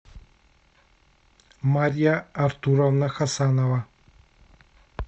марья артуровна хасанова